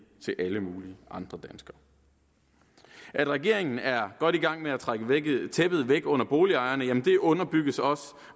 til alle mulige andre danskere at regeringen er godt i gang med at trække tæppet væk under boligejerne underbygges også